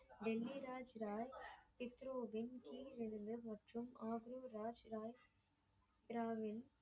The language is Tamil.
டெல்லி ராஜ் பாய் ஹிப்ரோதின் கீழ் ஒருவர் மற்றும் ஆம்பூர் ராஜ் பாய் ராவ்வின்